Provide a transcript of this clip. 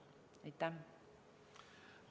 Aitäh!